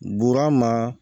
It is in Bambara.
Burama